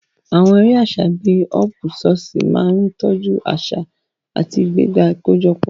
Àwọn eré àṣà bíi họ́ọ́púsọọ̀ṣì máa ń tọ́jú àṣà àti ìgbéga àkójọpọ̀.